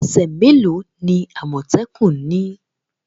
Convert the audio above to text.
Ese me lo ni amotekun ni?